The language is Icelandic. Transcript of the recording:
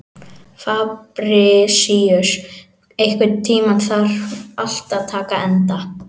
Fabrisíus, einhvern tímann þarf allt að taka enda.